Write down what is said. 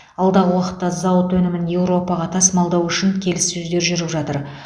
алдағы уақытта зауыт өнімін еуропаға тасымалдау үшін келіссөздер жүріп жатыр